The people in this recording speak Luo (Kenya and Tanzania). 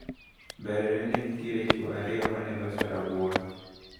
Mbelene nenitiere chuo ariyo maneloso rabuon.